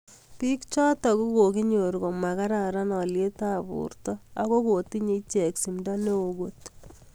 Biik chotok kokokinyor koma kararan alyet ab borta Ako ko tinyei icheck simda neoo kot.